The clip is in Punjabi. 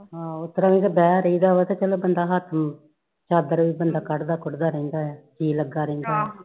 ਆਹੋ ਉਸ ਤਰਾਂ ਵੀ ਤੇ ਬਹ ਰਾਇਦਾ ਵਾ ਚਲੋ ਬੰਦਾ ਹੱਥ ਚਾਦਰ ਕੱਢਦਾ ਕੁੜਦਾ ਰਹਿੰਦਾ ਆ ਜੀ ਲਗਾ ਰਹਿਂਦਾ ਆ